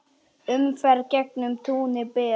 Umferð gegnum túnið ber.